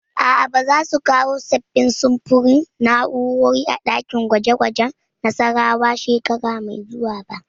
A'a, ba za su kawo sabbin samfurin na'urori a ɗakin gwaje gwajen Nassarawa shekara mai zuwa ba